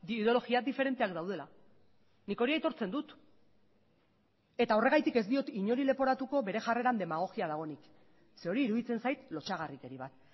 ideologia diferenteak daudela nik hori aitortzen dut eta horregatik ez diot inori leporatuko bere jarreran demagogia dagoenik ze hori iruditzen zait lotsagarrikeri bat